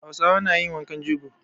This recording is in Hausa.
Hausawa na yin wankan jego.